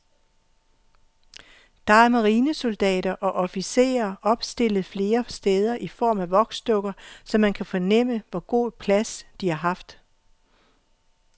Der er marinesoldater og officerer opstillet flere steder i form af voksdukker, så man kan fornemme, hvor god plads de har haft.